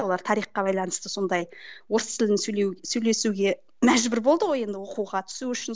олар тарихқа байланысты сондай орыс тілін сөйлеу сөйлесуге мәжбүр болды ғой енді оқуға түсу үшін